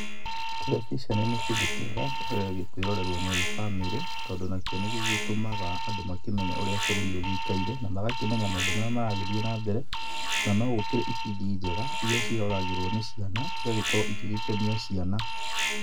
Terebiceni nĩ kĩndũ kĩega, kũĩrorerũo nĩ bamĩrĩ, tondũ nakĩo nĩgĩgĩtũmaga andũ makĩmenye ũrĩa bũrũri ũgĩikaire, na magakĩmenya maũndũ marĩa maragĩthiĩ na mbere, na no gũkĩrĩ ibindi njega, iria ciĩroragĩrũo nĩ ciana igagĩgĩkorũo igĩgĩkenia ciana.